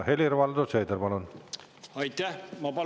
Helir-Valdor Seeder, palun!